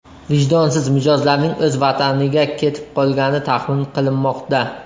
Vijdonsiz mijozlarning o‘z vataniga ketib qolgani taxmin qilinmoqda.